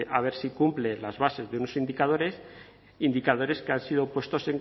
a ver si cumple las bases de unos indicadores indicadores que han sido puestos